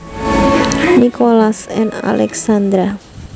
Nicholas and Alexandra